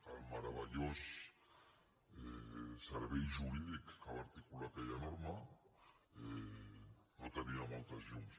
el meravellós servei jurídic que va articular aquella norma no tenia moltes llums